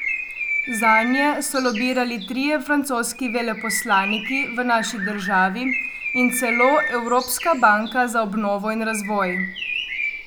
Zanje so lobirali trije francoski veleposlaniki v naši državi in celo Evropska banka za obnovo in razvoj.